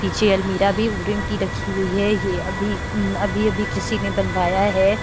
पीछे अलमीरा भी वुडन की रखी हुई है यह अभि अभी-अभी किसी ने बनवाया है।